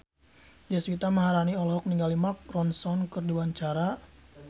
Deswita Maharani olohok ningali Mark Ronson keur diwawancara